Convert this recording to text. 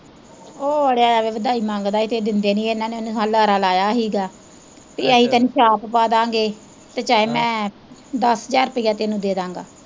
ਉਹ ਅੜਿਆ ਐਂਵੇ ਵਧਾਈ ਮੰਗਦੇ ਹੀ ਤੇ ਇਹ ਦਿੰਦੇ ਨੀ ਹੀ ਇੰਨਾਂ ਨੇ ਉਨੂੰ ਲਾਰਾ ਲਾਇਆ ਹੀਗਾ ਭੀ ਅਸੀਂ ਤੈਨੂੰ ਛਾਪ ਪਾ ਦਾ ਗੇ ਤੇ ਚਾਹੇ ਮੈਂ ਦਸ ਹਜ਼ਾਰ ਰੁਪਈਆ ਤੈਨੂੰ ਦੇਦਾਂਗਾ।